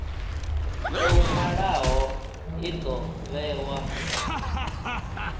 tou nwalwaho i do vhewa